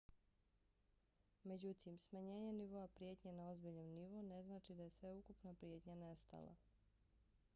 međutim smanjenje nivoa prijetnje na ozbiljan nivo ne znači da je sveukupna prijetnja nestala.